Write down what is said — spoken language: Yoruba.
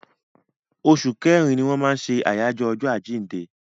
Oṣù kẹrin ni wọ́n ṣe àyájọ́ ọjọ́ àjíǹde.